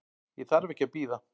Ég þarf ekki að bíða.